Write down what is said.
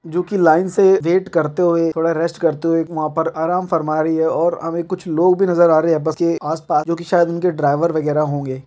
जो की लाइन से रेट करते हुए थोड़ा रेस्ट करते हुए वहां पर आराम फरमा रही है और हमें कुछ लोग भी नजर आ रहे है बस के आस-पास जो कि शायद उनके ड्राइवर वगैरह होंगे।